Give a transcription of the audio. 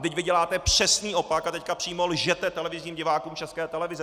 Vždyť vy děláte přesný opak a teď přímo lžete televizním divákům České televize!